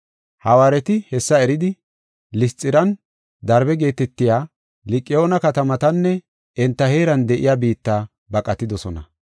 Hawaareti hessa eridi, Lisxiranne Darbe geetetiya Liqa7oona katamatanne enta heeran de7iya biitta baqatidosona.